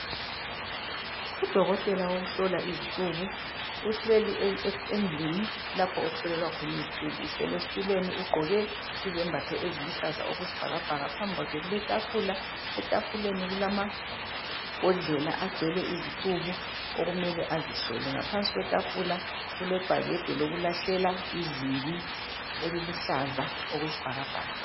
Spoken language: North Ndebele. u dokotela wokuhlola izicuku uhleli endlini lapho okuhlolelwa khona izicuku uhleli esitulweni ugqoke izembatho eziluhlaza okwesibhakabhaka phambi kwakhe kule tafula etafuleni kulabhodlela agcwele izicuku okumele azihlole ngaphansi kwetafula kulebhakede lokulahlela izibi eliluhlaza okwesibhakabhaka